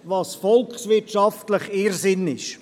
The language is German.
Das ist ein volkswirtschaftlicher Irrsinn.